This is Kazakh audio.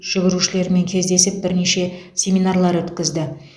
жүгірушілермен кездесіп бірнеше семинарлар өткізді